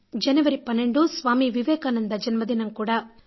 జనవరి 12న స్వామీ వివేకానంద జన్మదినం కూడా